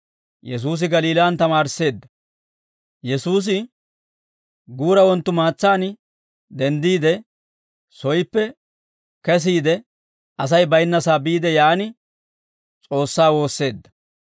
Yesuusi guura wonttumaatsaan denddiide, soyippe kesiide, Asay baynnasaa biide yaan S'oossaa woosseedda.